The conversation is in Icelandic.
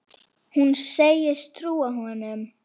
Hún segist trúa honum.